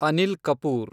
Anil Kapoor